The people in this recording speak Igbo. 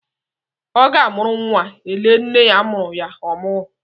Ọ ge a mụrụ nwa e lee nne mụrụ ya ọmụgwọ.